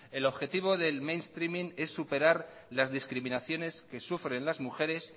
el objetivo del mainstreaming es superar las discriminaciones que sufren las mujeres